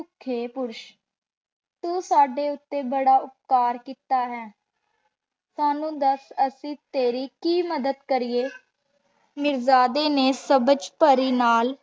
ਅਸ੍ਥਿ ਪੁਰੁਸ਼ ਤੂ ਸਾਡੇ ਊਟੀ ਬਾਰਾ ਉਪਕਾਰ ਕੀਤਾ ਹੈ ਸਾਨੂ ਦਸ ਅਸੀਂ ਤੇਰੀ ਕੀ ਮਦਦ ਕਰਿਯੇ ਮਿਰ੍ਜ਼ਾਡੀ ਨੇ ਸਾਬਾਜ ਪਾਰੀ ਨਾਲ